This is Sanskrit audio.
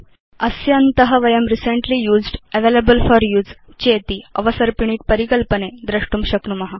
अस्य अन्त वयं रिसेंटली यूज्ड् रिसेंटली यूज्ड् चेति अवसर्पिणी परिकल्पने द्रष्टुं शक्नुम